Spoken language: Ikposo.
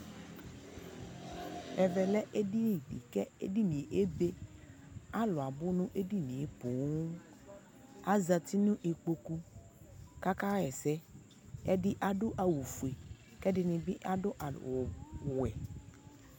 ɛvɛ lɛ ɛdini di kʋ ɛdiniɛ ɛbɛ kʋ alʋ abʋ nʋ ɛdiniɛ pɔɔɔm, azati nʋ ikpɔkʋ kʋ akayɛsɛ ɛdi adʋ awʋ ƒʋɛ kʋ ɛdibi adʋ awʋ wɛ